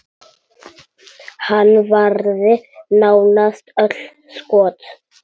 Hann varði nánast öll skot.